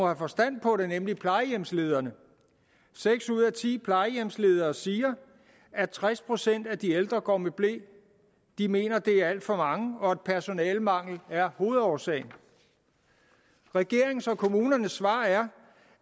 have forstand på det nemlig plejehjemslederne seks ud af ti plejehjemsledere siger at tres procent af de ældre går med ble de mener det er alt for mange og at personalemangel er hovedårsagen regeringens og kommunernes svar er